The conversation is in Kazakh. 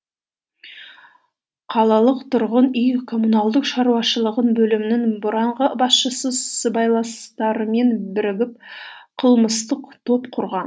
қалалық тұрғын үй коммуналдық шаруашылығы бөлімінің бұрынғы басшысы сыбайластарымен бірігіп қылмыстық топ құрған